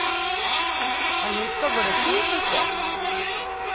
Han husker både tid og sted.